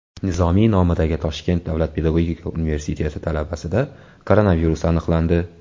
Nizomiy nomidagi Toshkent davlat pedagogika universiteti talabasida koronavirus aniqlandi.